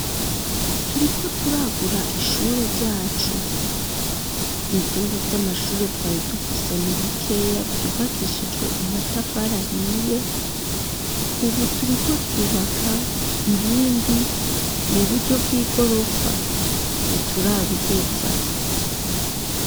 Turiko turagura ishure ryacu ivyumba vy'amashure twari dufise nibikeya vyubakishijwe amatafarahiye, ubu turiko twubaka ibindi mu buryo bw'i gorofa ni turabiheza.